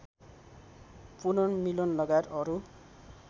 पुनर्मिलन लगायत अरू